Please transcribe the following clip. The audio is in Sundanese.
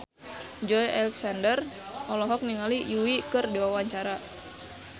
Joey Alexander olohok ningali Yui keur diwawancara